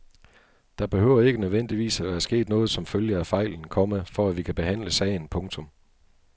Der behøver ikke nødvendigvis at være sket noget som følge af fejlen, komma for at vi kan behandle sagen. punktum